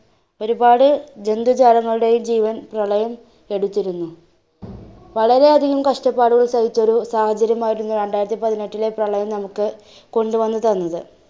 ഒരുപാടു ജന്തുജാലകളുടെയും ജീവൻ പ്രളയം എടുത്തിരുന്നു. വളരെയധികം കഷ്ടപാടുകൾ സഹിച്ചൊരു സാഹചര്യമായിരുന്നു രണ്ടായിരത്തി പതിനെട്ടിലെ പ്രളയം നമ്മുക്ക്കൊണ്ടുവന്ന് തന്നത്.